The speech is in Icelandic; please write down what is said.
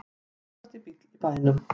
Flottasti bíll í bænum